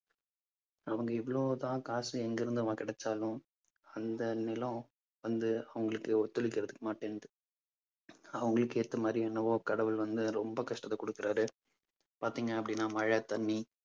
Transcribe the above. அவங்க இவ்வளவுதான் காசு எங்கிருந்து அவன் கிடைச்சாலும் அந்த நிலம் வந்து அவங்களுக்கு ஒத்துழைக்கிறதுக்கு மாட்டேன்து அவங்களுக்கு ஏத்த மாதிரி என்னவோ கடவுள் வந்து ரொம்ப கஷ்டத்தை கொடுக்கிறாரு. பார்த்தீங்க அப்பிடின்னா மழை தண்ணி